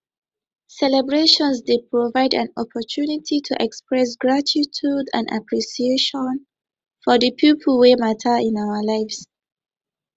celebration dey provide an opportunity to express gratitude and appreciation for di people wey mata in our lives